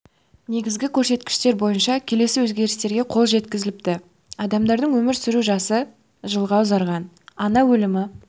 негізгі көрсеткіштер бойынша келесі өзгерістерге қол жеткізіліпті адамдардың өмір сүру жасы жылға ұзарған ана өлімі